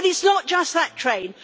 But it's not just that train.